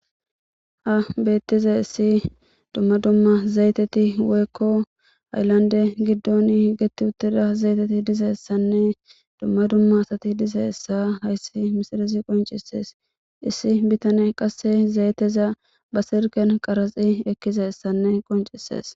ha beettizayis dumma dumma zayiteti woykko hayilanide giddon higetti uttida zayiteti dizassanne dumma dumma asati dizayissa hayssi misilez qoncisees issi bitane qasse zayeteza ba silikan qaraxi ekkizayissanne qoncises